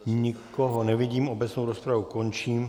Nikoho nevidím, obecnou rozpravu končím.